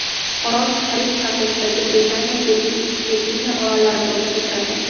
Orol Karib havzasidagi Britaniya Virginiya orollari guruhiga kiradi.